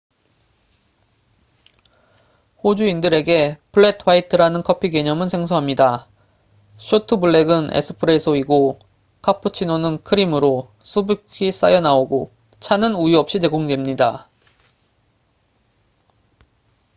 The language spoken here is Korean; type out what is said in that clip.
호주인들에게 '플렛 화이트'라는 커피 개념은 생소합니다. 쇼트 블랙은 '에스프레소'이고 카푸치노는 크림 거품이 아님으로 수북히 쌓여 나오고 차는 우유 없이 제공됩니다